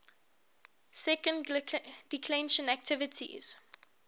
second declension adjectives